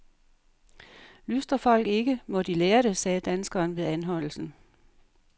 Lystrer folk ikke, må de lære det, sagde danskeren ved anholdelsen.